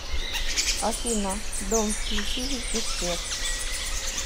афина дом включи везде свет